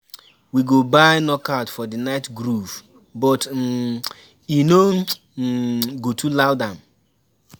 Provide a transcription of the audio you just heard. We go buy knockouts for the night groove, but um e no um go too loud am.